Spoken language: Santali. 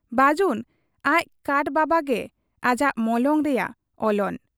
ᱵᱟᱹᱡᱩᱱ ᱟᱡ ᱠᱟᱴ ᱵᱟᱵᱟᱜ ᱜᱮ ᱟᱡᱟᱜ ᱢᱚᱞᱚᱝ ᱨᱮᱭᱟᱜ ᱚᱞᱚᱱ ᱾